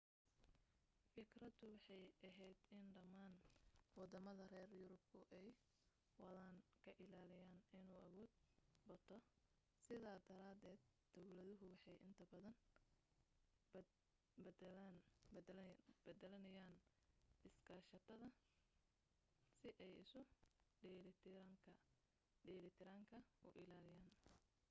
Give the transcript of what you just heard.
fikradu waxay ahayd in dhammaan waddamada reer yurubku ay waddan ka ilaaliyaan inuu awood bato sidaa daraadeed dawladuhu waxay inta badan beddelanayeen iskaashiyada si ay isu dheelitiranka u ilaaliyaan